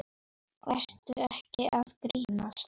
Ertu ekki að grínast?